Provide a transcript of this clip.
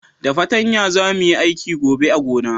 Da patanya za mu yi aiki gobe a gona